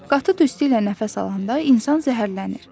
Qatı tüstü ilə nəfəs alanda insan zəhərlənir.